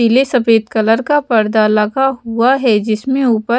पीले सफेद कलर का पर्दा लगा हुआ है जिसमें ऊपर--